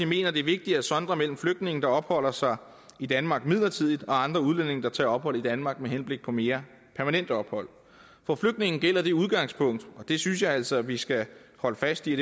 mener det er vigtigt at sondre mellem flygtninge der opholder sig i danmark midlertidigt og andre udlændinge der tager ophold i danmark med henblik på mere permanent ophold for flygtninge gælder det udgangspunkt det synes jeg altså at vi skal holde fast i